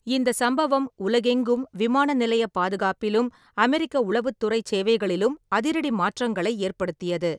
இந்தச் சம்பவம் உலகெங்கும் விமான நிலையப் பாதுகாப்பிலும் அமெரிக்க உளவுத்துறைச் சேவைகளிலும் அதிரடி மாற்றங்களை ஏற்படுத்தியது.